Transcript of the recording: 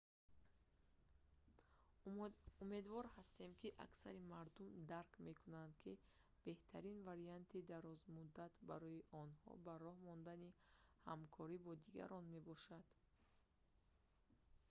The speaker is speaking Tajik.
умедвор ҳастем ки аксари мардум дарк мекунад ки беҳтарин варианти дарозмуддат барои онҳо ба роҳ мондани ҳамкорӣ бо дигарон мебошад